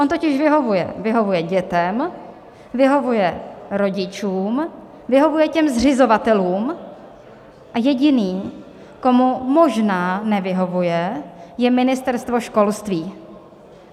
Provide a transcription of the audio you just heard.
On totiž vyhovuje, vyhovuje dětem, vyhovuje rodičům, vyhovuje těm zřizovatelům a jediný, komu možná nevyhovuje, je Ministerstvo školství.